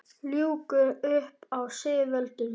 Ljúga upp á sig völdum?